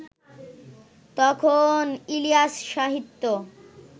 তখন ইলিয়াস-সাহিত্য